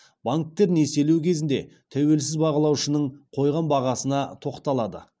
банктер несиелеу кезінде тәуелсіз бағалаушының қойған бағасына тоқталады